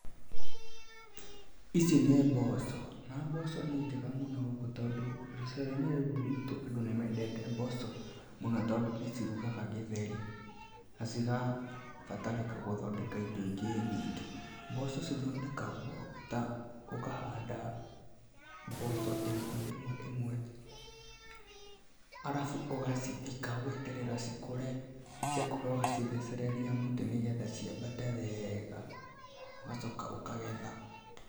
Ici nĩ mboco na mboco nĩ njega mũno tondũ gĩcigoinĩ gĩkĩ gitũ andũ nĩmendete mboco mũno tondũ nĩcirugaga gĩtheri na cigabatarĩka gũthondeka indo ingĩ nyingĩ. mboco ithondekagwo ta ũkahanda mboco ĩmwe ĩmwe arafu ũgacithika ũgeterera cikũre ciakũra ũgacithechereria mũtĩ nĩgetha ciambate wega, ũgachoka ũkagetha.